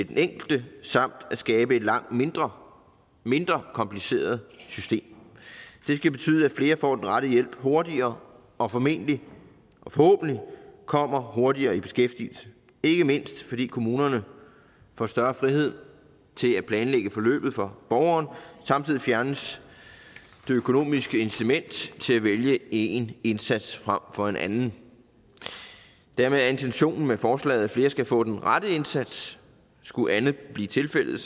den enkelte samt at skabe et langt mindre mindre kompliceret system det skal betyde at flere får den rette hjælp hurtigere og formentlig og forhåbentlig kommer hurtigere i beskæftigelse ikke mindst fordi kommunerne får større frihed til at planlægge forløbet for borgeren samtidig fjernes det økonomiske incitament til at vælge én indsats frem for en anden dermed er intentionen med forslaget at flere skal få den rette indsats skulle andet blive tilfældet